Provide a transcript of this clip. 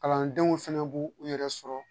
Kalandenw fɛnɛ b'u u yɛrɛ sɔrɔ